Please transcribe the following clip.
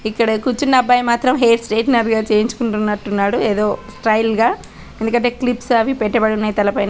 ఇక్కడ కూర్చున్న అబ్బాయ్ మాత్రం హెయిర్ స్ట్రెయిట్నర్గా చేయించుకుంటున్నట్టు ఉన్నాడు ఏదో స్టైల్ గా ఎందుకంటే క్లిప్స్ అవి పెట్టబడి ఉన్నాయి తల పైన--